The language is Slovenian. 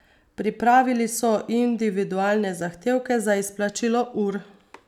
Pripravili so individualne zahtevke za izplačilo ur.